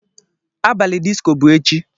Abalị disko bụ echi.